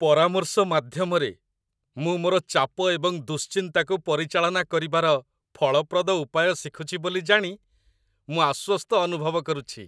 ପରାମର୍ଶ ମାଧ୍ୟମରେ, ମୁଁ ମୋର ଚାପ ଏବଂ ଦୁଶ୍ଚିନ୍ତାକୁ ପରିଚାଳନା କରିବାର ଫଳପ୍ରଦ ଉପାୟ ଶିଖୁଛି ବୋଲି ଜାଣି ମୁଁ ଆଶ୍ୱସ୍ତ ଅନୁଭବ କରୁଛି